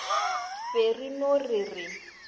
be re no re re